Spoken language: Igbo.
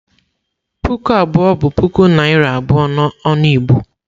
Puku abụọ bụ puku naira abụọ n'ọnụ Igbo.